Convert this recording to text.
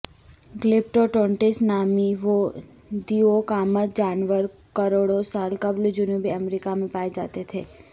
glyptodonts نامی وہ دیوقامت جانور کروڑوں سال قبل جنوبی امریکہ میں پائے جاتے تھے